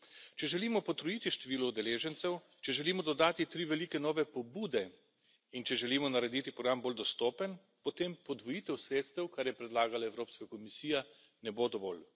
Če želimo potrojiti število udeležencev, če želimo dodati tri velike nove pobude in če želimo narediti program bolj dostopen, potem podvojitev sredstev, kar je predlagala Evropska komisija, ne bo dovolj.